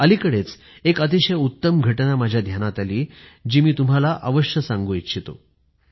अलिकडेच एक अतिशय उत्तम घटना माझ्या ध्यानात आली जी मी तुम्हाला अवश्य सांगू इच्छितो